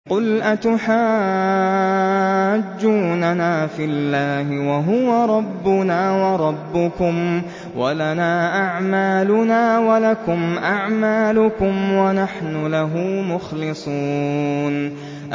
قُلْ أَتُحَاجُّونَنَا فِي اللَّهِ وَهُوَ رَبُّنَا وَرَبُّكُمْ وَلَنَا أَعْمَالُنَا وَلَكُمْ أَعْمَالُكُمْ وَنَحْنُ لَهُ مُخْلِصُونَ